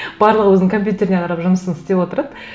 барлығы өзінің компьютеріне қарап жұмысын істеп отырады